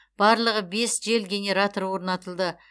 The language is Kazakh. барлығы бес жел генераторы орнатылды